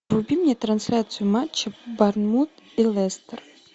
вруби мне трансляцию матча борнмут и лестер